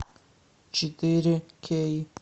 четыре кей